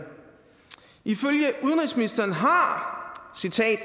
ifølge udenrigsministeren har